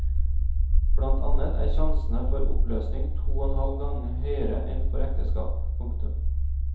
Blant annet er sjansene for oppløsning to og en halv gang høyere enn for ekteskap. punktum